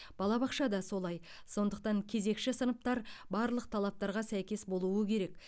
балабақша да солай сондықтан кезекші сыныптар барлық талаптарға сәйкес болуы керек